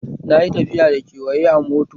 Na yi tafiya da ƙawaye na a mota